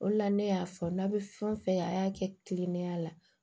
O de la ne y'a fɔ n'a bɛ fɛn o fɛn kɛ a y'a kɛ kilinikiya la